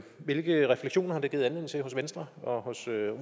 hvilke refleksioner har det givet anledning til hos venstre og hos